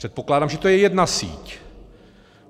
Předpokládám, že to je jedna síť.